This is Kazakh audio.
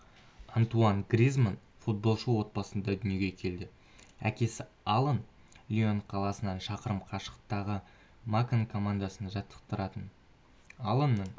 антуан гризманн футболшы отбасында дүниеге келді әкесі алан лион қаласынан шақырым қашықтағы макон командасын жаттықтыратын аланның